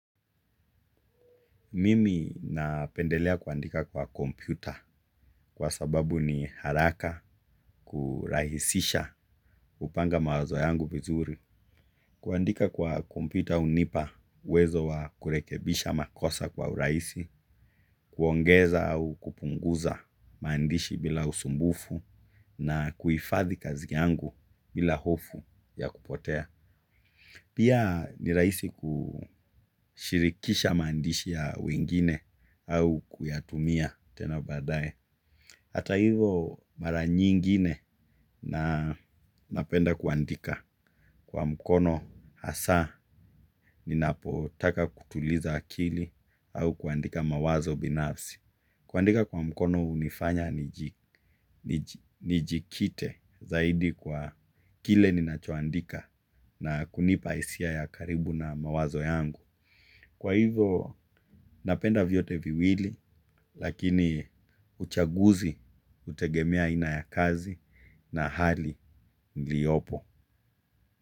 Mimi napendelea kuandika kwa kompyuta kwa sababu ni haraka kurahisisha kupanga mawazo yangu vizuri. Kuandika kwa kompyuta hunipa uwezo wa kurekebisha makosa kwa uraisi, kuongeza au kupunguza maandishi bila usumbufu na kuhifadhi kazi yangu bila hofu ya kupotea. Pia ni raisi kushirikisha maandishi ya wengine au kuyatumia tena baadaye. Hata hivo mara nyingine na napenda kuandika kwa mkono hasa ninapotaka kutuliza akili au kuandika mawazo binafsi. Kuandika kwa mkono hunifanya nijikite zaidi kwa kile ninacho andika na kunipa hisia ya karibu na mawazo yangu kwa hivyo napenda vyote viwili lqkini chaguzi hutegemea aina ya kazi na hali iliyopo.